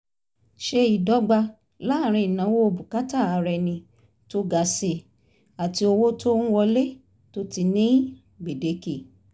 ṣe ìdọ́gba láàrín ìnáwó bùkátà ara ẹni tó ga si àti owó tó ń wọle tó ti ní gbèdéke